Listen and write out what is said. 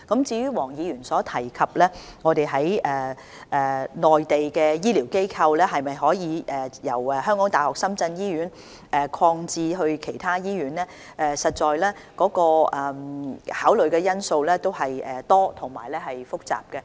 至於黃議員詢問醫療券在內地的適用範圍可否由港大深圳醫院擴展至其他醫院，這方面要考慮的因素實在多而複雜。